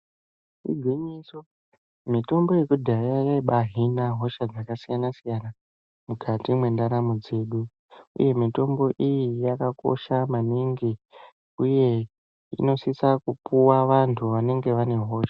Igwinyiso, mitombo yekudhaya yaibaahina hosha dzakasiyana-siyana mukati mwendaramo dzedu, uye mitombo iyi yakakosha maningi. Uye inosisa kupuwa vantu vanenge vane hosha.